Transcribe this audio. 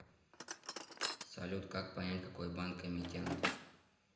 салют как понять какой банк эмитент